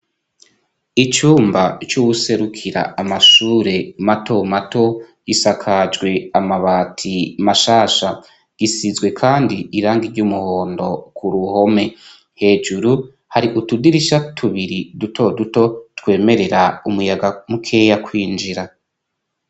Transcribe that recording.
Icumba c'uwuserukira amashure mato mato isakajwe amabati mashasha gisizwe, kandi iranga ry'umuhondo ku ruhome hejuru hari utudirisha tubiri dutoduto twemerera umuyaga mukeya kwinjira.